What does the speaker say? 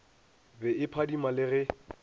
be e phadima le ge